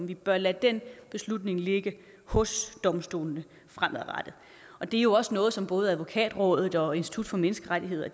vi bør lade den beslutning ligge hos domstolene fremadrettet og det er jo også noget som både advokatrådet og institut for menneskerettigheder